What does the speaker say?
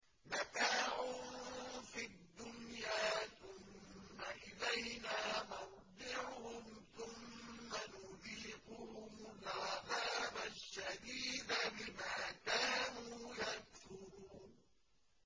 مَتَاعٌ فِي الدُّنْيَا ثُمَّ إِلَيْنَا مَرْجِعُهُمْ ثُمَّ نُذِيقُهُمُ الْعَذَابَ الشَّدِيدَ بِمَا كَانُوا يَكْفُرُونَ